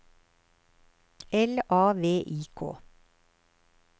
L A V I K